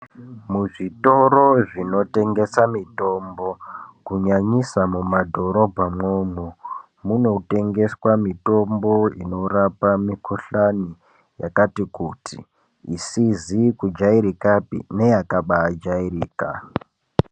Muzvitoro zvinotengesa mitombo, kunyanyisa mumadhorobha mwomwo. Munotengeswa mitombo inorapa mikhuhlani yakati kuti, isizi kujaerekapi neyakabaa jaereka.